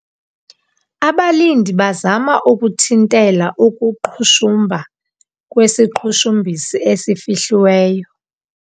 Abalindi bazama ukunthintela ukuqhushumba kwesiqhushumbisi esifihliweyo.